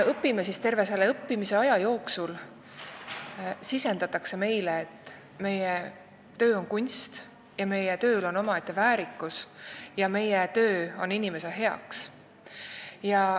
Terve selle õppimise aja jooksul sisendatakse meile, et meie töö on kunst, meie tööl on omaette väärikus ja meie töö on inimese heaks.